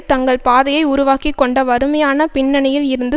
தங்கள் பாதையை உருவாக்கி கொண்ட வறுமையான பின்னணியில் இருந்து